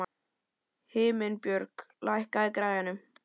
Himinbjörg, lækkaðu í græjunum.